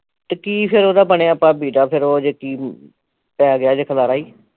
ਤੇ ਕੀ ਫਿਰ ਓਹਦਾ ਬਣਿਆ ਭਾਬੀ ਦਾ ਫਿਰ ਓਹ ਜੇ ਕੀ ਪੈਗਿਆ ਜੇ ਖਲਾਰਾਂ ਈ